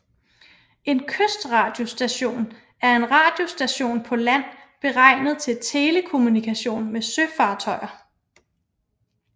En kystradiostation er en radiostation på land beregnet til telekommunikation med søfartøjer